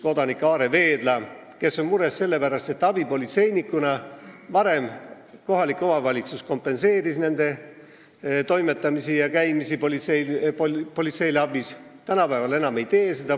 Kodanik Aare Veedla on mures selle pärast, et varem kohalik omavalitsus kompenseeris abipolitseinike toimetamisi ja politseile abiks käimisi, aga tänapäeval seda enam ei tehta.